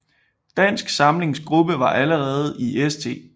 Dansk Samlings gruppe var allerede i St